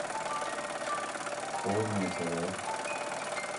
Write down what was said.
полное тв